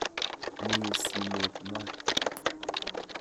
Mi simet maat.